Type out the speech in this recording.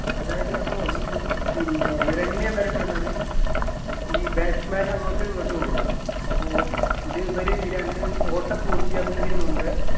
അതായത് അപ്പോ ഈ പിന്നെ run എന്ന് അറിയപ്പെടുന്നത് ഈ batsman അങ്ങോട്ടു ഇങ്ങട്ടും ഓടും അപ്പൊ ഇതിവര് രണ്ട് ഓട്ടം പൂർത്തിയാക്കുന്നതിന് മുമ്പേ